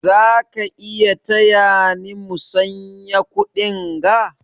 Za ka taya ni musanya kuɗinga?